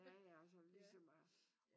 Ja ja sådan ligesom os